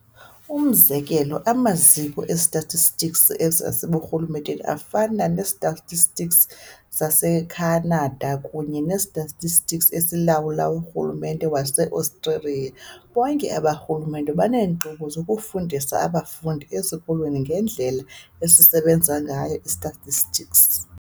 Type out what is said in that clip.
Umzekelo, Amaziko e-statistics aseburhulumenteni afana ne-Statistics saseKhanada kunye ne-Statistics esilawulwa urhulumente wase-Australia, bonke aba rhulumente baneenkqubo zokufundisa abafundi ezikolweni ngendlela esisebenza ngayo i-statistics.